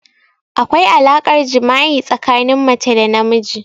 Akwai alaƙar jima'i tsakanin mace da namiji.